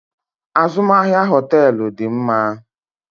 Azụmahịa hoteelu dị mma.